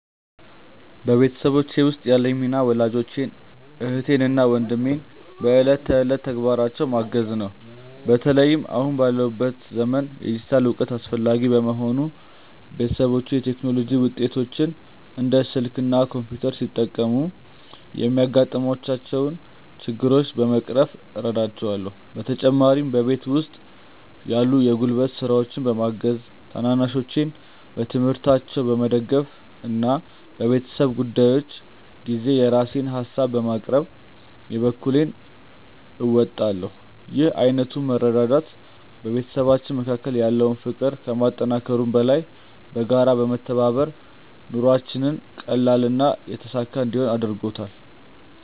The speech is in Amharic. በቤተሰቤ ውስጥ ያለኝ ሚና ወላጆቼን፣ እህትና ወንድሜን በዕለት ተዕለት ተግባራቸው ማገዝ ነው። በተለይም አሁን ባለንበት ዘመን የዲጂታል እውቀት አስፈላጊ በመሆኑ፣ ቤተሰቦቼ የቴክኖሎጂ ውጤቶችን (እንደ ስልክ እና ኮምፒውተር) ሲጠቀሙ የሚያጋጥሟቸውን ችግሮች በመቅረፍ እረዳቸዋለሁ። በተጨማሪም በቤት ውስጥ ያሉ የጉልበት ስራዎችን በማገዝ፣ ታናናሾቼን በትምህርታቸው በመደገፍ እና በቤተሰብ ጉዳዮች ጊዜ የራሴን ሃሳቦችን በማቅረብ የበኩሌን እወጣለሁ። ይህ ዓይነቱ መረዳዳት በቤተሰባችን መካከል ያለውን ፍቅር ከማጠናከሩም በላይ፣ በጋራ በመተባበር ኑሯችንን ቀላልና የተሳካ እንዲሆን አድርጎታል።